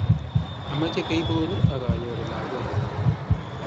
Ameche keibon akanyoru lagok